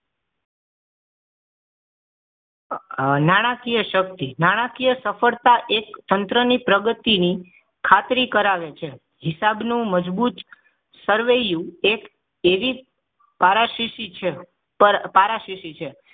નાણાકીય શક્તિ નાણાકીય સફળતા એક તંત્રની પ્રગતિની ખાતરી કરાવે છે હિસાબ નું મજબૂત સરવૈયુ એક એવી પારાશીશી છે પારાશીશી છે